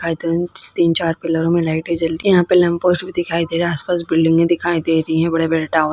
तीन चार पिलरो में लाइटे जल रही है यहाँ पर लेम्पोस भी दिखाई दे रहा है और आस पास बिल्डिंगे दिखा दे रही है बड़े-बड़े टॉवर् --